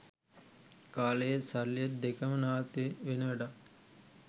කාලයත් සල්ලිත් දෙකම නාස්තිවෙන වැඩක්.